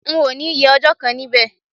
N ò ní ye ọjọ́ kan níbẹ̀